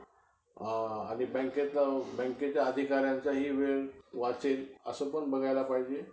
असं असं ह्या ह्या subject चे sir आले नाहीत आज absent आहेत. हा हा त्या तासाला निघून जायचो खाली मग खाली cricket खेळ कुठं अं कुरघोडी